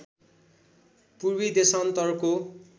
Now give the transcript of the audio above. पूर्वी देशान्तरको